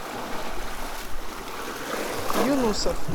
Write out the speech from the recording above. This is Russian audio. юнусов